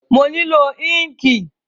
Mo nílò ínkìì